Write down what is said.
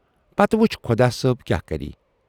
پتہٕ وُچھ خۅدا صٲب کیاہ کرِ۔